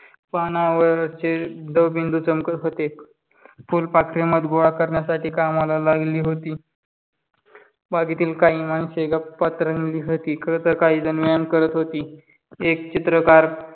पानावरचे दवबिंदू चमकत होते. फुलपाखरे मध गोळा करण्यासाठी कामाला लागलेली होती. बागेतील काही माणसे गप्पात रंगली होती. खरं तर काहीजण व्यायाम करत होती. एक चित्रकार